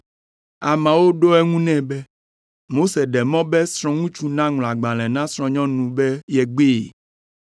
Ameawo ɖo eŋu nɛ be, “Mose ɖe mɔ be srɔ̃ŋutsu naŋlɔ agbalẽ na srɔ̃nyɔnu be yegbee.”